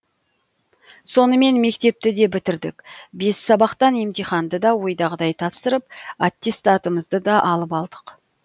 сонымен мектепті де бітірдік бес сабақтан емтиханды да ойдағыдай тапсырып аттестатымызды да алып алдық